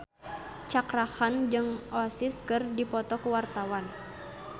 Cakra Khan jeung Oasis keur dipoto ku wartawan